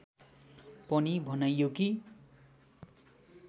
पनि भनाइयो कि